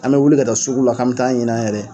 An mɛ wuli ka taa sugu la k'an mɛ taa ɲini an yɛrɛ ye.